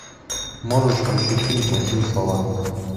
можешь включить фильм плохие слова